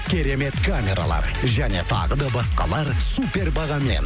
керемет камералар және тағы да басқалар супер бағамен